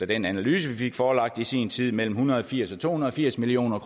den analyse vi fik forelagt i sin tid mellem en hundrede og firs og to hundrede og firs million